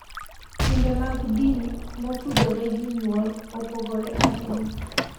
Timbe mag din motudore gi nyuol opogore ahinya,